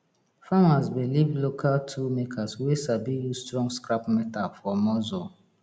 farmers belief local tool makers wey sabi use strong scrap metal for muscle